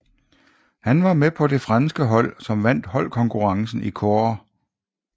Han var med på det franske hold som vandt holdkonkurrencen i kårde